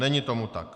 Není tomu tak.